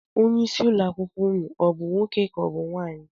Onyeisi ụlọakwụkwọ unu ọ bụ nwoke ka ọ bụ nwaanyị?